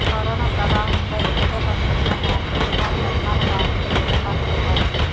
corona ప్రభావంతో ఇళ్ళకే పరిమితమైన ప్రతి భవన నిర్మాణ కార్మికుడి కుటుంబానికి రూ